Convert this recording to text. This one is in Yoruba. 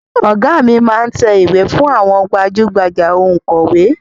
Ọ̀gá mi máá ń tẹ ìwé fún àwọn gbajú-gbajà Ònkọ̀wẹ́